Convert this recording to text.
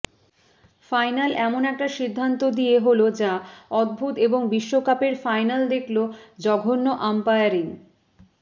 final এমন একটা সিদ্ধান্ত দিয়ে হল যা অদ্ভুত এবং বিশ্বকাপের ফাইনাল দেখল জঘন্য আম্পায়ারিং